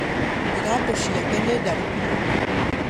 Iratũ ciake nĩ ndarũkũ mũno